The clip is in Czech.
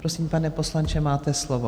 Prosím, pane poslanče, máte slovo.